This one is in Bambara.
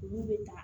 U b'u bɛ ta